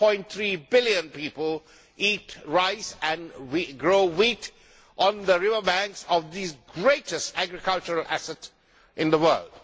1.3 billion people eat rice and grow wheat on the river banks of these greatest agricultural assets in the world.